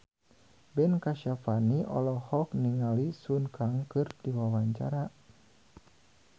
Ben Kasyafani olohok ningali Sun Kang keur diwawancara